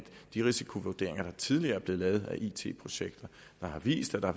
de risikovurderinger der tidligere er blevet lavet af it projekter der har vist at der